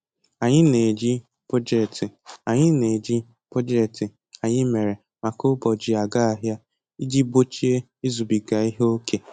Anyị na-eji bọjetị Anyị na-eji bọjetị anyị mere maka ụbọchị aga ahịa iji gbochie izubiga ihe oke